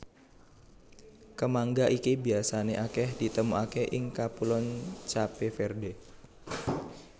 Kemangga iki biasané akèh ditemokaké ing Kapuloan Cape Verde